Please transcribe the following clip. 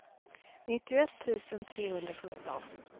nittioett tusen trehundrasjutton